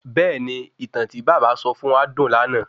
Bẹ̀ẹ́ni, ìtàn tí bàbá sọ fún wa dùn lànà